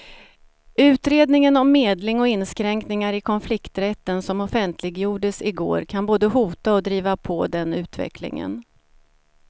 Utredningen om medling och inskränkningar i konflikträtten som offentliggjordes i går kan både hota och driva på den utvecklingen.